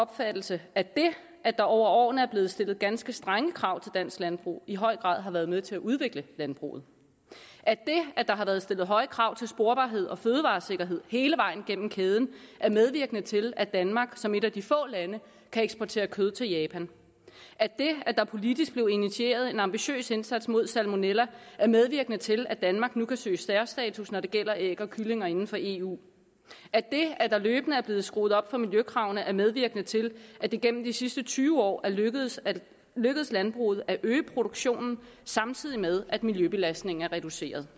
opfattelse at det at der over årene er blevet stillet ganske strenge krav til dansk landbrug i høj grad har været med til at udvikle landbruget at det at der har været stillet høje krav til sporbarhed og fødevaresikkerhed hele vejen gennem kæden er medvirkende til at danmark som et af de få lande kan eksportere kød til japan at det at der politisk blev initieret en ambitiøs indsats mod salmonella er medvirkende til at danmark nu kan søge særstatus når det gælder æg og kyllinger inden for eu og at det at der løbende er blevet skruet op for miljøkravene er medvirkende til at det igennem de sidste tyve år er lykkedes lykkedes landbruget at øge produktionen samtidig med at miljøbelastningen er reduceret